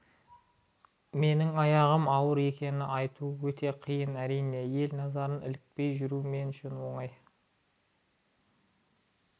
менің аяғым ауыр екенін айту өте қиын әрине ел назарына ілікпей жүру мен үшін оңай